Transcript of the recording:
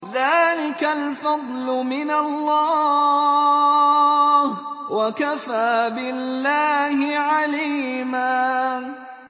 ذَٰلِكَ الْفَضْلُ مِنَ اللَّهِ ۚ وَكَفَىٰ بِاللَّهِ عَلِيمًا